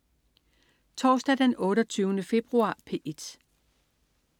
Torsdag den 28. februar - P1: